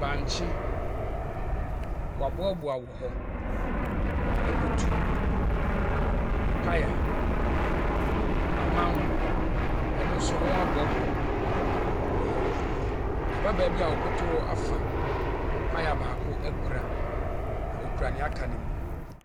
bankye, wɔaboaboa wɔ hɔ. Akutuw, paya, amango, ɛno nso wɔaboaboa wɔ hɔ. Ababaawa bi a ɔkoto hɔ afa paya baako akura, na ɔkura nea aka no mu.